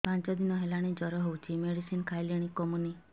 ପାଞ୍ଚ ଦିନ ହେଲାଣି ଜର ହଉଚି ମେଡିସିନ ଖାଇଲିଣି କମୁନି